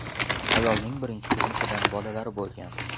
Ayolning birinchi turmushidan bolalari bo‘lgan.